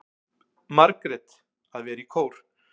Margrét: Að vera í kór.